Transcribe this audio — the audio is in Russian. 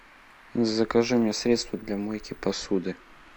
закажи мне средство для мойки посуды